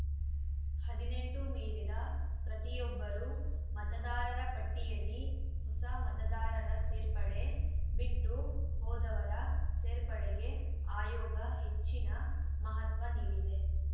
ಹದಿನೆಂಟು ಮೀರಿದ ಪ್ರತಿಯೊಬ್ಬರೂ ಮತದಾರರ ಪಟ್ಟಿಯಲ್ಲಿ ಹೊಸ ಮತದಾರರ ಸೇರ್ಪಡೆ ಬಿಟ್ಟು ಹೋದವರ ಸೇರ್ಪಡೆಗೆ ಆಯೋಗ ಹೆಚ್ಚಿನ ಮಹತ್ವ ನೀಡಿದೆ